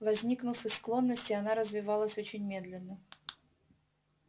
возникнув из склонности она развивалась очень медленно